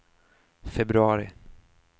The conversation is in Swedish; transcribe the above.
februari